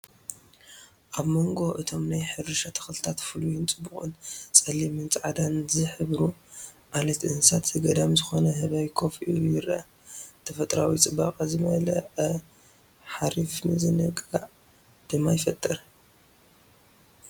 ኣብ መንጎ እቶም ናይ ሕርሻ ተኽልታት ፍሉይን ጽቡቕን ጸሊምን ጻዕዳን ዝሕብሩ ዓሌት እንስሳ ዘገዳም ዝኾነ ህበይ ኮፍ ኢሉ ይርአ። ተፈጥሮኣዊ ጽባቐ ዝመልአ ሓሪፍ ምዝንጋዕ ድማ ይፈጥር።